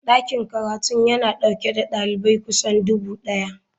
Dakin karatun yana dauke da dalibai kusan dubu daya.